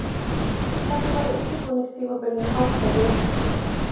Hvernig var undirbúningstímabilinu háttað hjá ykkur?